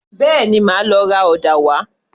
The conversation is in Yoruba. Bẹ́ẹ̀ni, màá lọ ra ọ̀dà wá